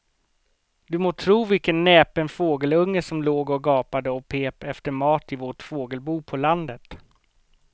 Du må tro vilken näpen fågelunge som låg och gapade och pep efter mat i vårt fågelbo på landet.